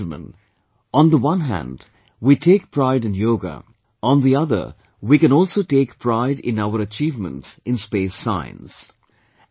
My dear countrymen, on the one hand, we take pride in Yoga, on the other we can also take pride in our achievements in space science